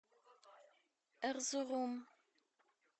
эрзурум